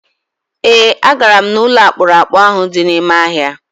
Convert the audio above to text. E, a gara m n'ụlọ akpụrụakpụ ahụ dị n'ime ọhịa.